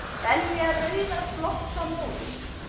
Belja rauðar blossa móður,